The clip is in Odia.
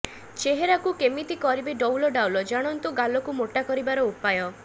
ଚେହେରାକୁ କେମିତି କରିବେ ଡଉଲ ଡାଉଲ ଜାଣନ୍ତୁ ଗାଲକୁ ମୋଟା କରିବାର ଉପାୟ